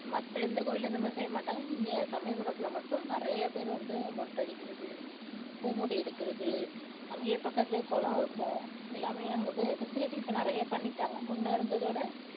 மத்த எந்த கோயில்லயும் இந்த மாதிரி செய்ய மாட்டாங்க இங்க சமயபுரத்துல மட்டும் நிறைய பேர் வந்து மொட்டை அடிக்கிறது பூ முடி எடுக்கிறது அங்கேயே பக்கத்திலே குளம் இருக்கும் எல்லாமே அங்கே fa~ facility இப்போ நிறைய பண்ணிட்டாங்க முன்ன இருந்ததை விட